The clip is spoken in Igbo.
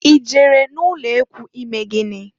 I jere n'ulekwu ime gịnị?